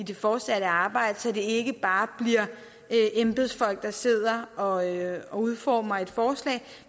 det fortsatte arbejde så det ikke bare bliver embedsfolk der sidder og udformer et forslag